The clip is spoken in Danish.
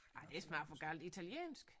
Nej det er snart for galt italiensk